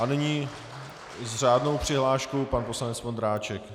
A nyní s řádnou přihláškou pan poslanec Vondráček.